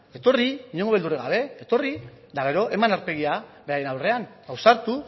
etorri inongo beldurrik gabe etorri eta gero eman aurpegia beraien aurrean ausartu